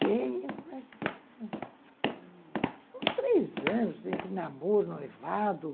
Sei... Uns três anos, entre namoro, noivado.